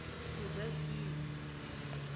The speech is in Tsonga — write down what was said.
mudyaxihi